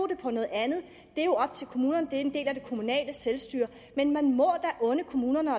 det på noget andet det er jo op til kommunerne det er en del af det kommunale selvstyre men man må da unde kommunerne